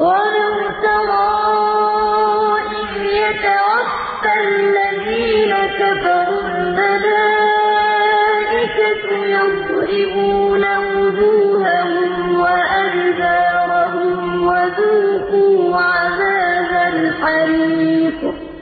وَلَوْ تَرَىٰ إِذْ يَتَوَفَّى الَّذِينَ كَفَرُوا ۙ الْمَلَائِكَةُ يَضْرِبُونَ وُجُوهَهُمْ وَأَدْبَارَهُمْ وَذُوقُوا عَذَابَ الْحَرِيقِ